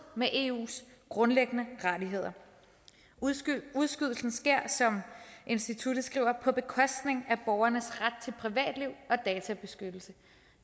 med eus grundlæggende rettigheder udskydelsen sker som instituttet skriver på bekostning af borgernes ret til privatliv og databeskyttelse